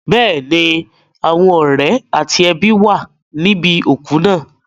Bẹ́ẹ̀ni, àwọn ọ̀rẹ́ àti ẹbí wà níbi òkú náà.